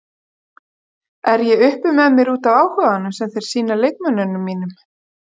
Er ég uppi með mér útaf áhuganum sem þeir sýna leikmönnunum mínum?